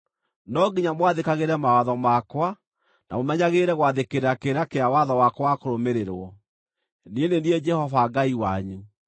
No nginya mwathĩkagĩre mawatho makwa na mũmenyagĩrĩre gwathĩkĩra kĩrĩra kĩa watho wakwa wa kũrũmĩrĩrwo. Niĩ nĩ niĩ Jehova Ngai wanyu.